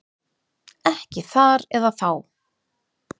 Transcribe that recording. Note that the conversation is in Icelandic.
Ekki þar eða þá.